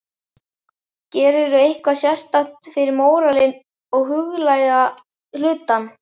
Gerirðu eitthvað sérstakt fyrir móralinn og huglæga hlutann?